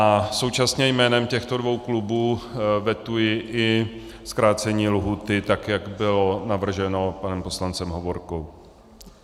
A současně jménem těchto dvou klubů vetuji i zkrácení lhůty, tak jak bylo navrženo panem poslancem Hovorkou.